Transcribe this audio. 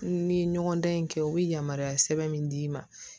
N ni ɲɔgɔn dan in kɛ u bɛ yamaruya sɛbɛn min d'i ma